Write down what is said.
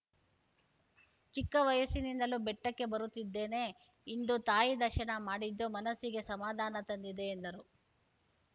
ಚಿಕ್ಕವಯಸ್ಸಿನಿಂದಲೂ ಬೆಟ್ಟಕ್ಕೆ ಬರುತ್ತಿದ್ದೇನೆ ಇಂದು ತಾಯಿಯ ದರ್ಶನ ಮಾಡಿದ್ದು ಮನಸ್ಸಿಗೆ ಸಮಾಧಾನ ತಂದಿದೆ ಎಂದರು